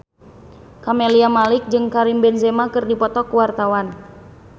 Camelia Malik jeung Karim Benzema keur dipoto ku wartawan